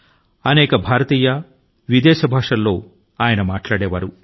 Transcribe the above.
ఆయన అనేక భారతీయ భాషల ను విదేశీ భాషల ను మాట్లాడే వారు